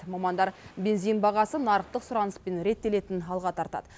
мамандар бензин бағасы нарықтық сұраныспен реттелетінін алға тартады